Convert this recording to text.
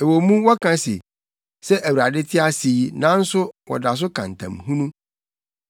Ɛwɔ mu wɔka se, ‘Sɛ Awurade te ase yi,’ nanso wɔda so ka ntam hunu.”